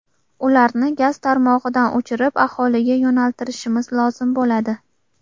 Ularni gaz tarmog‘idan o‘chirib, aholiga yo‘naltirishimiz lozim bo‘ladi.